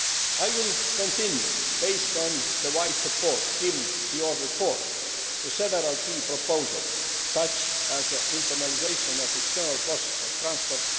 I will continue, based on the wide support given in your report to several key proposals, such as the internalisation of external costs of transport